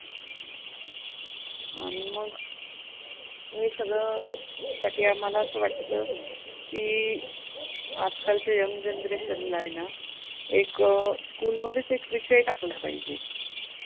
की आजकालच्या young generation आहे ना एक school मध्येच एक विषय टाकला पाहिजे.